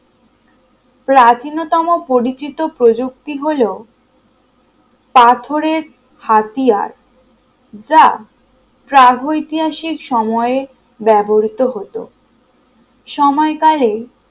প্রাচীনতম পরিচিত প্রযুক্তি হল পাথরের হাতিয়ার যা প্রাগৈতিহাসিক সময়ে ব্যবহৃত হতো। সময়কালে